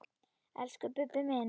Elsku Bubbi minn.